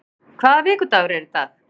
Styr, hvaða vikudagur er í dag?